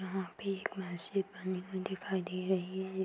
यहां पे एक मस्जिद बनी हुई दिखाई दे रही है।